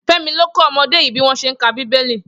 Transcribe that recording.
Femi ló kọ ọmọdé yi biwọn ṣé n ká bibéli